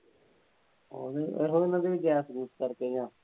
ਜਾਪ ਜੂਪ ਕਰਦੇ ਆ।